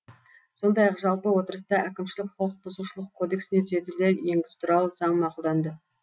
сондай ақ жалпы отырыста әкімшілік құқықбұзушылық кодексіне түзетулер енгізу туралы заң мақұлданды